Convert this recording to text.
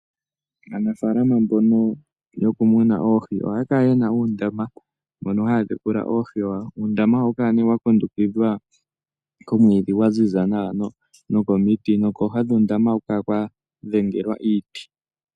Aanafaalama mbono yo ku muna oohii. Ohaya kala ye na uundama mono haya tekula oohi dhawo. Uundama oha wu kala nee wa kundukidhwa komwiidhi gwaziza nawa noko miti. Kooha dhuundama oha ku kala kwa dhengelwa iiti.